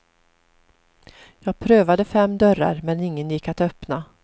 Jag prövade fem dörrar men ingen gick att öppna.